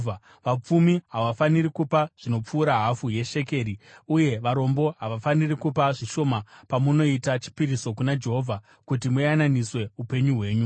Vapfumi havafaniri kupa zvinopfuura hafu yeshekeri uye varombo havafaniri kupa zvishoma pamunoita chipiriso kuna Jehovha kuti muyananiswe upenyu hwenyu.